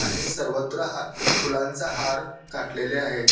आणि सर्वत्र फुलांचा हार घातलेले आहे.